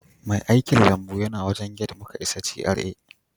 Mai aikilambu yana wajen gate muka isa GRA